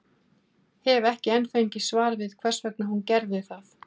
Hef ekki enn fengið svar við hvers vegna hún gerði það.